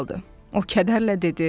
O kədərlə dedi.